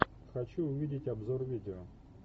хочу увидеть обзор видео